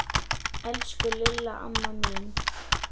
Elsku Lilla amma mín.